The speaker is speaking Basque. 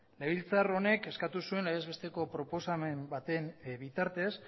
legebiltzar honek eskatu zuen legez besteko proposamen baten bitartez